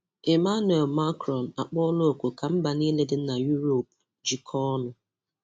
Emmanuel Macron akpọọla òkù ka mba niile dị na Uropu jikọọ ọnụ